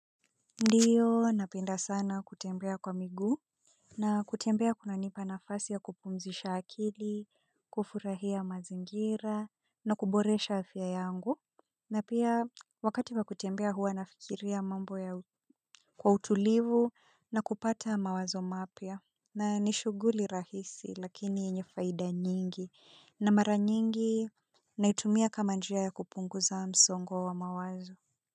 Ndiyo napenda sana kutembea kwa miguu. Na kutembea kunanipa nafasi ya kupumzisha akili, kufurahia mazingira, na kuboresha afya yangu na pia wakati wa kutembea huwa nafikiria mambo yangu kwa utulivu na kupata mawazo mapya na ni shughuli rahisi lakini yenye faida nyingi na mara nyingi naitumia kama njia ya kupunguza msongo wa mawazo.